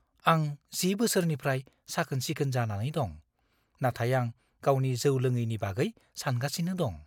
आं 10 बोसोरनिफ्राय साखोन-सिखोन जानानै दं, नाथाय आं गावनि जौ लोङैनि बागै सानगासिनो दं।